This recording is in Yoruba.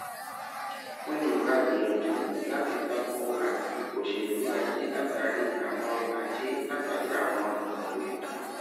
wọn lè máa gbìyànjú láti tako àti òṣèlú ajé látàri àwọn ajé látàri àwọn ìnáwó ètò